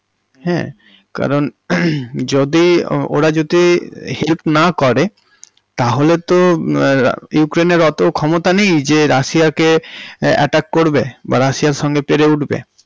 হাঁ কারণ হমমম যদি ওরা যদি help না করে তাহলে তো মম ইউক্রেইন্ এর অত ক্ষমতা নেই যে রাশিয়া কে attack করবে বা রাশিয়ার সঙ্গে পেরে উঠবে।